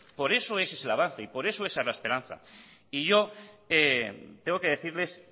por eso ese es el avance y por eso esa es la esperanza y yo tengo que decirles